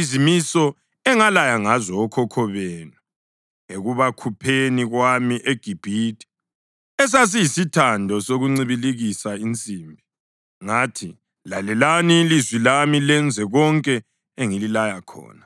izimiso engalaya ngazo okhokho benu ekubakhupheni kwami eGibhithe, esasiyisithando sokuncibilikisa insimbi.’ Ngathi, ‘Lalelani ilizwi lami lenze konke engililaya khona,